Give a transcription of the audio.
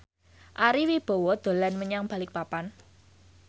Ari Wibowo dolan menyang Balikpapan